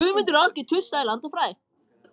Á kannski að skrifa aðra grein í blöðin?